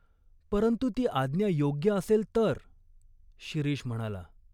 "परंतु ती आज्ञा योग्य असेल तर," शिरीष म्हणाला.